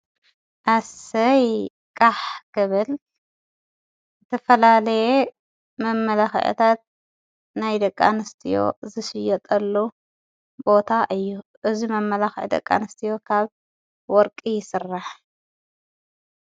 ኣሰይ ቃሕ ግብል ተፈላለየ መመላኽዐታት ናይ ደቃንስቲዮ ዘሽየጠሉ ቦታ እዩ እዝ መመላኽዒ ደቃንስቲዎ ካብ ወርቂ ይሥራሕ።